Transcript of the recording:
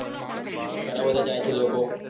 ઘણા બધા જાય છે લોકો